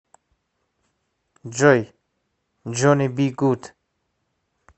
джой джонни би гуд